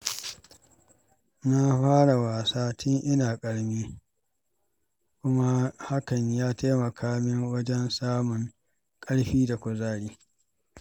Na fara wasa tun ina ƙarami, kuma hakan ya taimaka min wajen samun ƙarfi da kuzari.